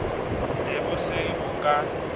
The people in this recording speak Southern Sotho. ne bo se bo ka